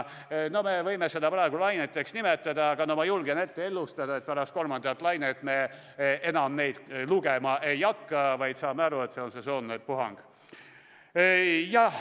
Me võime neid praegu laineteks nimetada, aga ma julgen ennustada, et pärast kolmandat lainet me neid enam ei loe, vaid saame aru, et see on sesoonne puhang.